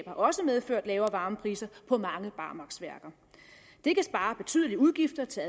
også medført lavere varmepriser på mange barmarksværker det kan spare betydelige udgifter til